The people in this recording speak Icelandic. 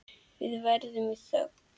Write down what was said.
Við erum í þögn.